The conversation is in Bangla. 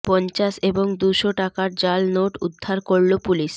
পঞ্চাশ এবং দুশো টাকার জাল নোট উদ্ধার করল পুলিশ